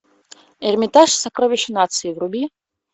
эрмитаж сокровище нации вруби